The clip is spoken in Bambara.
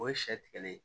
O ye sɛ tigɛli ye